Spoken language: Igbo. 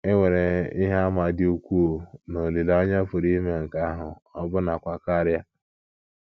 E nwere ihe àmà dị ukwuu na olileanya pụrụ ime nke ahụ — ọbụnakwa karịa.